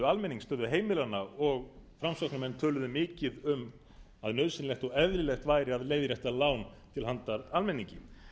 almennings stöðu heimilanna og framsóknarmenn töluðu mikið um að nauðsynlegt og eðlilegt væri að leiðrétta lán til handa almenningi